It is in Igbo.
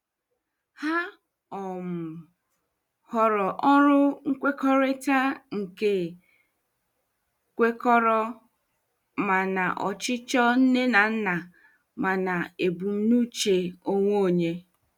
Ha um họọrọ ọrụ nkwekọrịta nke kwekọrọ ma na ọchịchọ nne na nna ma na ebumnuche onwe onye.